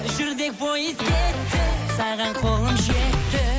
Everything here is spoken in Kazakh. жүрдек пойыз кетті саған қолым жетті